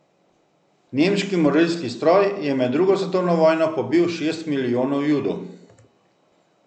Nemški morilski stroj je med drugo svetovno vojno pobil šest milijonov Judov.